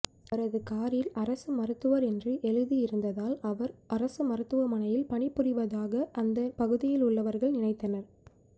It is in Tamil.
அவரது காரில் அரசு மருத்துவர் என்று எழுதி இருந்ததால் அவர் அரசு மருத்துவமனையில் பணிபுரிவதாக அந்த பகுதியில் உள்ளவர்கள் நினைத்தனர்